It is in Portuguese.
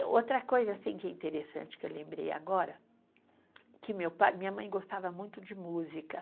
Outra coisa assim que é interessante que eu lembrei agora, que meu pai, minha mãe gostava muito de música.